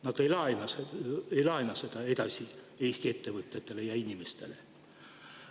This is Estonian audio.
Nad ei laena seda edasi Eesti ettevõtetele ja inimestele.